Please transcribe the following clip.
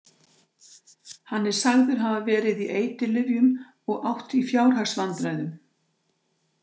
Hann er sagður hafa verið í eiturlyfjum og átt í fjárhagsvandræðum.